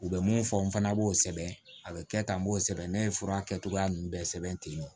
U bɛ mun fɔ n fana b'o sɛbɛn a bɛ kɛ tan n b'o sɛbɛn ne ye fura kɛcogoya ninnu bɛɛ sɛbɛn ten tɔ